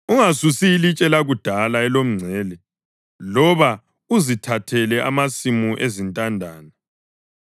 Ungasusi ilitshe lakudala elomngcele loba uzithathele amasimu ezintandane,